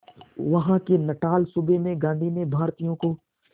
वहां के नटाल सूबे में गांधी ने भारतीयों को